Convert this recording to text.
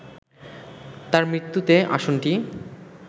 তার মৃত্যুতে আসনটি